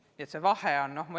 Nii et vahe on olemas.